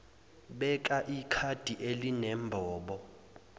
beka ikhadi elinembobo